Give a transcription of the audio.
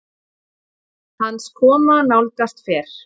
hans koma nálgast fer